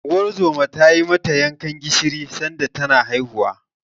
Unguwar zoman ta yi mata yankan gishiri sanda tana haihuwa.